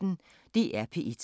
DR P1